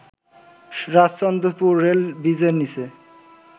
Rajchandrapur rail ব্রিজের নীচে